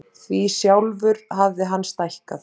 Því sjálfur hafði hann stækkað.